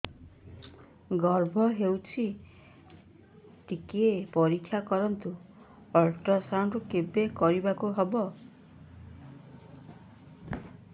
ଗର୍ଭ ହେଇଚି ଟିକେ ପରିକ୍ଷା କରନ୍ତୁ ଅଲଟ୍ରାସାଉଣ୍ଡ କେବେ କରିବାକୁ ହବ